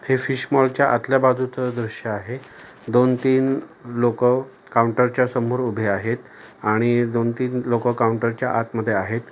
हे फिश मॉलच्या आतल्या बाजूचं दृश्य आहे दोन तीन लोक काऊंटर च्या समोर उभे आहेत आणि दोन-तीन लोक काऊंटर च्या आतमध्ये आहेत.